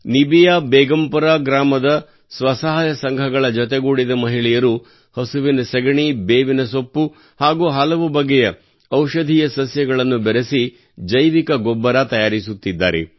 ನಿಬಿಯಾ ಬೇಗಂಪುರ ಗ್ರಾಮದ ಸ್ವಸಹಾಯ ಸಂಘಗಳ ಜೊತೆಗೂಡಿದ ಮಹಿಳೆಯರು ಹಸುವಿನ ಸಗಣಿ ಬೇವಿನ ಸೊಪ್ಪು ಹಾಗೂ ಹಲವು ಬಗೆಯ ಔಷಧೀಯ ಸಸ್ಯಗಳನ್ನು ಬೆರೆಸಿ ಜೈವಿಕ ಗೊಬ್ಬರ ತಯಾರಿಸುತ್ತಿದ್ದಾರೆ